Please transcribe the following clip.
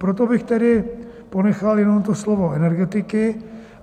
Proto bych tedy ponechal jenom to slovo energetiky.